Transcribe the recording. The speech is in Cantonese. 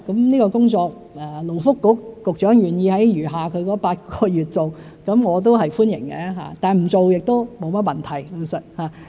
勞工及福利局局長願意在餘下的8個月任期內做這項工作，我表示歡迎，但不做也沒甚麼問題。